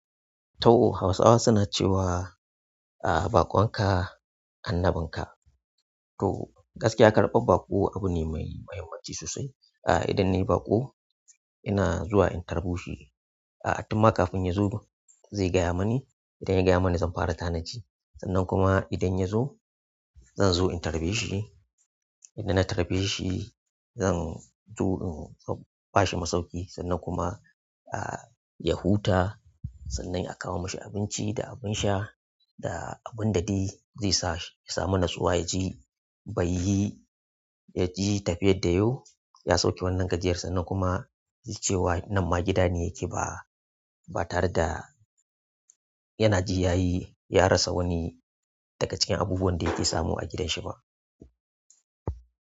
To, Hausawa suna cewa, a baƙon ka annabin ka. To gaskiya karɓar baƙo abu ne mai muhimmanci sosai. Idan nayi baƙo ina zuwa in tarbo shi a tunma kafin yazo zai gaya mani idan ya gaya mani zan fara tanaji sannan kuma idan ya zo zan zo in tarbe shi. Idan na tarbe shi zan zo in ba shi masoki sannan kuma ya huta. Sannan a kawo mashi abinci da abin sha da abun da zai sa ya samu natsuwa ya ji bai yi, yi tafiyar da yazo. Ya sauke wannan gajiyarsa nan kuma ya ce wa nan ma gida ne yake ba tare da yana jiyayi ya rasa wani daga cikin abubuwan da yake samu a gidanshi ba.